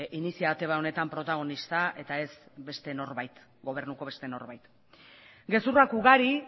iniziatiba honetan protagonista eta ez gobernuko beste norbait gezurrak ugari